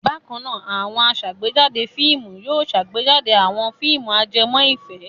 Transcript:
Bákan náà, àwọn aṣàgbéjáde fíìmù yóò ṣàgbéjáde àwọn fíìmù ajẹmọ́ ìfẹ́.